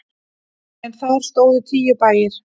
En þar stóðu tíu bæir.